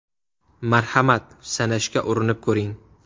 Marhamat, sanashga urinib ko‘ring!